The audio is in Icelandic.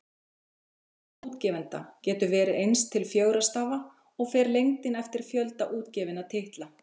Tala útgefanda getur verið eins til fjögurra stafa, og fer lengdin eftir fjölda útgefinna titla.